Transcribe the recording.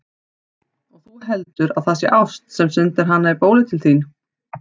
Og þú heldur, að það sé ást, sem sendir hana í bólið til þín!